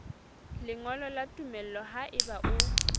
lengolo la tumello haeba o